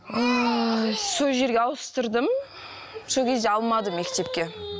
сол жерге ауыстырдым сол кезде алмады мектепке